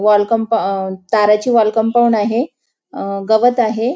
Wall कंपा अ ताराची वॉल कंपाउंड आहे अ गवत आहे.